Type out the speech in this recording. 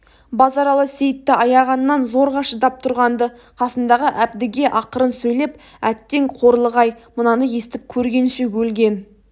базаралы сейітті аяғаннан зорға шыдап тұрған-ды қасындағы әбдіге ақырын сөйлеп әттең қорлық-ай мынаны естіп көргенше өлген